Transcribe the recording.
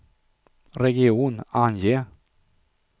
region, ange